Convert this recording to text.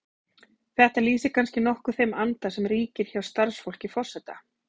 Þetta lýsir kannski nokkuð þeim anda sem ríkir hjá starfsfólki forseta.